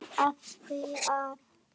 Af því að.